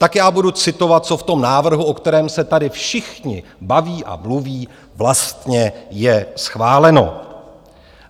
Tak já budu citovat, co v tom návrhu, o kterém se tady všichni baví a mluví, vlastně je schváleno.